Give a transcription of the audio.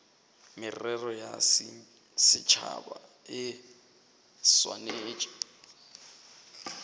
merero ya setšhaba e swanetše